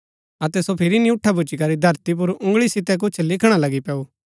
अतै सो फिरी नियूँठा भूच्ची करी धरती पुर उँगळी सितै कुछ लिखणा लगी पैऊँ